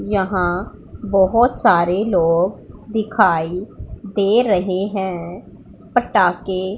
यहां बहोत सारे लोग दिखाई दे रहे हैं पटाखे--